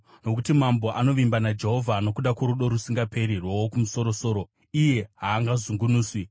Nokuti mambo anovimba naJehovha; nokuda kworudo rusingaperi rwoWokumusoro-soro, iye haangazungunuswi.